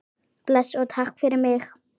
Bless og takk fyrir mig.